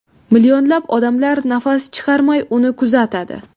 Millionlab odamlar nafas chiqarmay, uni kuzatadi.